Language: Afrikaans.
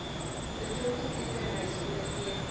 betrokke kinderhuis onderteken